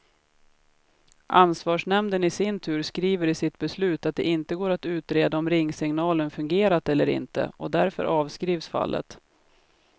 Ansvarsnämnden i sin tur skriver i sitt beslut att det inte går att utreda om ringsignalen fungerat eller inte, och därför avskrivs fallet.